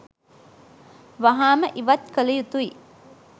වහාම ඉවත් කළ යුතුයි.